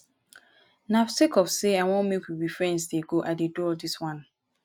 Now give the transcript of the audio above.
na sake of sey i wan make we be friends dey go i dey do all dis wan.